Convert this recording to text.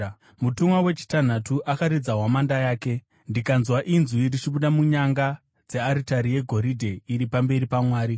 Mutumwa wechitanhatu akaridza hwamanda yake, ndikanzwa inzwi richibuda munyanga dzearitari yegoridhe iri pamberi paMwari.